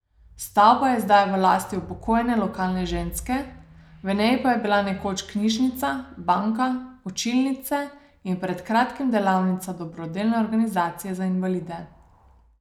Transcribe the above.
Stavba je zdaj v lasti upokojene lokalne ženske, v njej pa je bila nekoč knjižnica, banka, učilnice in pred kratkim delavnica dobrodelne organizacije za invalide.